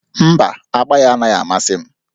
Mba, agba ya anaghị amasị m